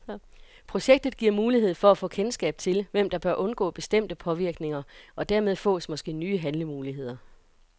Projektet giver mulighed for at få kendskab til, hvem der bør undgå bestemte påvirkninger, og dermed fås måske nye handlemuligheder.